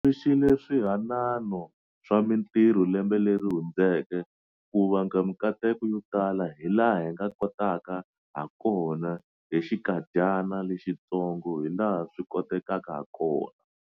Tumbuluxile swihanano swa mitirho lembe leri hundzeke ku vanga mikateko yo tala hilaha hi nga kotaka hakona hi xinkadyana lexitsongo hilaha swi kotekaka hakona.